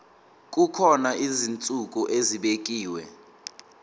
kukhona izinsuku ezibekiwe